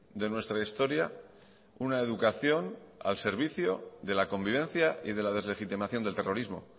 de nuestra historia una educación al servicio de la convivencia y de la deslegitimación del terrorismo